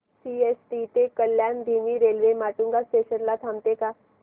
CST ते कल्याण धीमी railway Matunga station ला थांबते का